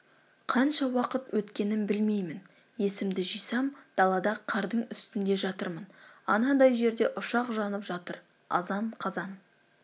қанша уақыт өткенін білмеймін есімді жисам далада қардың үстінде жатырмын анадай жерде ұшақ жанып жатыр азан-қазан